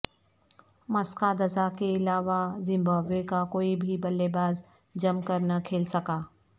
Masakadza کے علاوہ Zimbabwe کا کوئی بھی بلے باز جم کر نہ کھیل سکا